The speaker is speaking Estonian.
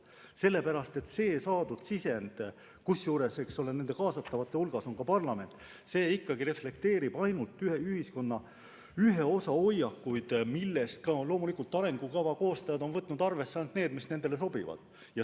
Seda sellepärast, et saadud sisend, kusjuures kaasatavate hulgas on ka parlament, reflekteerib ainult ühiskonna ühe osa hoiakuid, millest arengukava koostajad on loomulikult arvesse võtnud ainult neid, mis nendele sobivad.